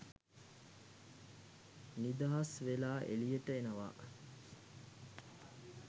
නිදහස් වෙලා එලියට එනවා